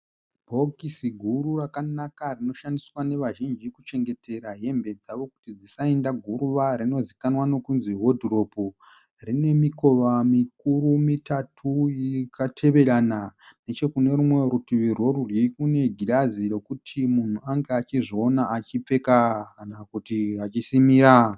Bhokisi guru rakanaka rinoshandiswa nevazhinji kuchengetera hembe dzavo kuti dzisaenda guruva rinozivikanwa nokunzi hodhiropu. Rine mikova mikuru mitatu yakateverana, nechekune rimwe kurutivi rorudyi kune girazi rokuti munhu ange achizviona achipfeka kana kuti achisimira